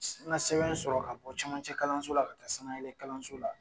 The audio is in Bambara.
N ga sɛbɛn sɔrɔ ka bɔ camancɛ kalanso la ka taa sanayɛlɛn kalanso la